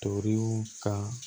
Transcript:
Toriw ka